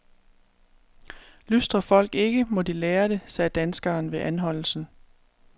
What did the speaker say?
Lystrer folk ikke, må de lære det, sagde danskeren ved anholdelsen.